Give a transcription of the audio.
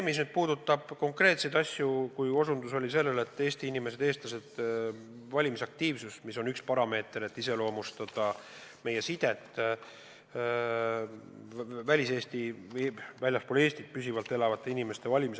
Mis puudutab konkreetseid mõõdikuid, siis Eesti inimeste valimisaktiivsus on üks parameeter, mis iseloomustab meie sidet väljaspool Eestit püsivalt elavate inimestega.